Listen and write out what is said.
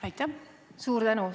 Suur tänu!